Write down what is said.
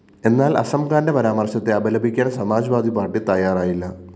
എന്നാല്‍ അസംഖാന്റെ പരാമര്‍ശത്തെ അപലപിക്കാന്‍ സമാജ്‌വാദി പാര്‍ട്ടി തയ്യാറായില്ല